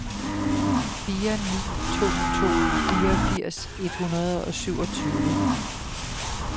fire ni to to fireogfirs et hundrede og syvogtyve